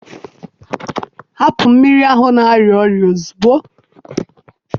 hapụ mmiri ahụ na-arịa ọrịa ozugbo!